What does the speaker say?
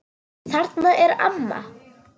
Þarna er amma!